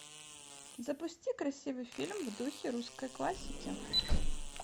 запусти красивый фильм в духе русской классики